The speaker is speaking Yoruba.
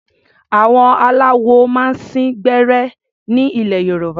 Àwọn aláwo máa ń sín gbẹ́rẹ́ ní ilẹ̀ Yorùbá.